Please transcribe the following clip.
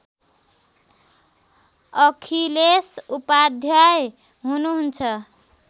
अखिलेश उपाध्याय हुनुहुन्छ